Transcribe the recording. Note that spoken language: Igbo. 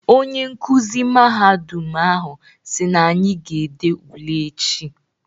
Onye nkuzi mahadum ahụ si n'anyị ga-ede ule echi.